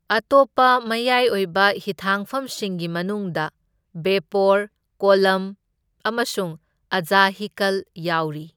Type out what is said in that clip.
ꯑꯇꯣꯞꯄ ꯃꯌꯥꯏ ꯑꯣꯏꯕ ꯍꯤꯊꯥꯡꯐꯝꯁꯤꯡꯒꯤ ꯃꯅꯨꯡꯗ ꯕꯦꯄꯣꯔ, ꯀꯣꯜꯂꯝ ꯑꯃꯁꯨꯡ ꯑꯖꯍꯤꯀꯜ ꯌꯥꯎꯔꯤ꯫